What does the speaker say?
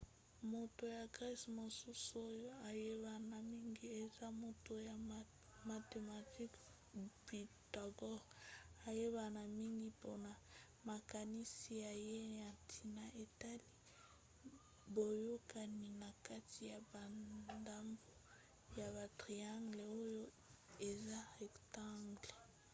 moto ya grece mosusu oyo ayebana mingi eza moto ya mathematique pythagore ayebana mingi mpona makanisi na ye na ntina etali boyokani na kati ya bandambo ya batriangles oyo eza rectangle